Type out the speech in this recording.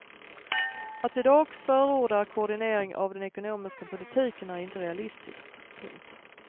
Att i dag förorda koordinering av den ekonomiska politiken är inte realistiskt. punkt